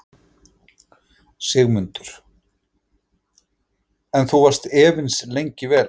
Sigmundur: En þú varst efins lengi vel?